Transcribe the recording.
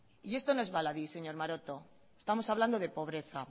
y esto no es baladí señor maroto estamos hablando de pobreza